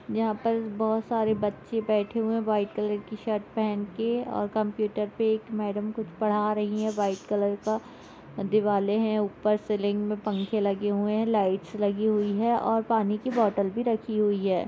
यहां पर बहुत सारे बच्चे बैठे हुए है व्हाइट कलर की शर्ट पहन के और कंप्यूटर पे एक मैडम कुछ पढ़ा रही है व्हाइट कलर का दिवाले है ऊपर सेलिंग मे पंखे लगे हुए है लाइट्स लगी हुई हैऔर पानी की बॉटल भी रखी हुई है।